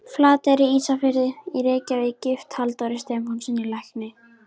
Flateyri, Ísafirði og í Reykjavík, gift Halldóri Stefánssyni lækni.